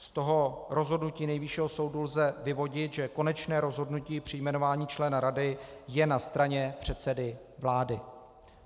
Z toho rozhodnutí Nejvyššího soudu lze vyvodit, že konečné rozhodnutí při jmenování člena rady je na straně předsedy vlády.